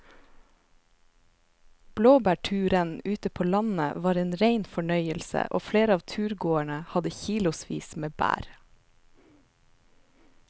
Blåbærturen ute på landet var en rein fornøyelse og flere av turgåerene hadde kilosvis med bær.